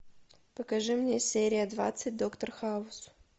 покажи мне серия двадцать доктор хаус